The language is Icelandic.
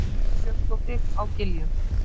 Þórunn Björnsdóttir á Giljum